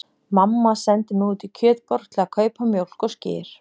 Mamma sendi mig út í Kjötborg til að kaupa mjólk og skyr.